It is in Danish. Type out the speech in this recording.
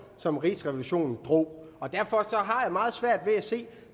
som rigsrevisionen drog derfor har jeg meget svært ved at se